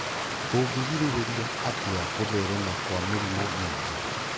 Tũngĩgirĩrĩria atĩa gũtherema kwa mĩrimũ mĩingĩ